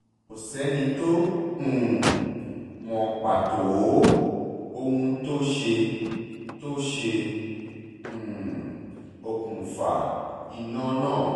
kò sẹ́ni tó um mọ pàtó ohun tó ṣe tó ṣe um okùnfà iná náà